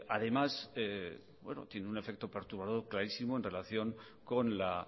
además tiene un efecto perturbador clarísimo en relación con la